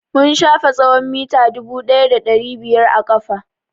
Mun shafe tsawon mita dubu ɗaya da ɗari biyar a ƙafa.